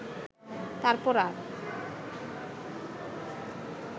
তারপর আর